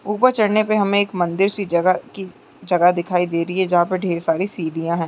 ऊपर चढ़ने पे हमे एक मंदिर सी जगह की जगह दिखाई दे रही है जहाँ पे ढेर सारी सीढ़िया हैं।